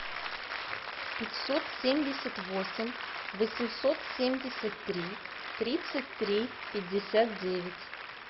пятьсот семьдесят восемь восемьсот семьдесят три тридцать три пятьдесят девять